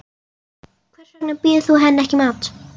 Hvers vegna býður þú henni ekki í mat.